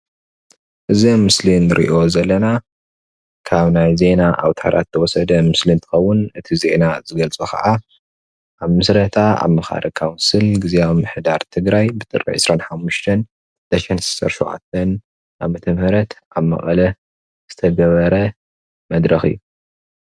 እዚ ምስሊ እንርእዮ ዘለና ካብ ናይ ዜና ኣዉታራት ዝተወሰደ ምስሊ እንትኸዉን እቲ ዜና ዝገልጾ ከዓ ኣብ ምስረታ ኣማኻሪ ካዉንስል ጊዚያዊ ምምሕዳር ትግራይ ብ ጥሪ 25/2017 ዓ/ም ኣብ መቐለ ዝተገበረ መድረኽ እዩ።